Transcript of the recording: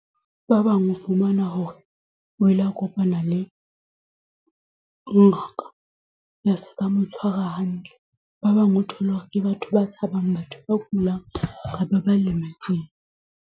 Ba bang o fumana hore we la kopana le ngaka ya se ka mo tshwara hantle. Ba bang o thole hore ke batho ba tshabang batho ba kulang kapa ba lemetseng.